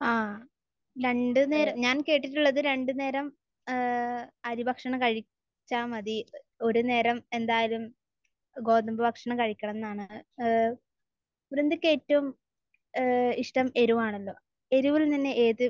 ആ. രണ്ട് നേരം...ഞാൻ കേട്ടിട്ടുള്ളത് രണ്ട് നേരം ഏഹ് അരി ഭക്ഷണം കഴിച്ചാൽ മതി. ഒരു നേരം എന്തായാലും ഗോതമ്പ് ഭക്ഷണം കഴിക്കണമെന്നാണ്. ഏഹ്. വൃന്ദക്ക് ഏറ്റവും ഏഹ് ഇഷ്ടം എരിവാണല്ലോ. എരിവിൽ നിന്ന് ഏത്